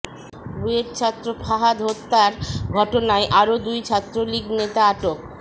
বুয়েটছাত্র ফাহাদ হত্যার ঘটনায় আরও দুই ছাত্রলীগ নেতা আটক